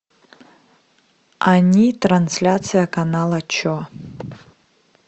они трансляция канала че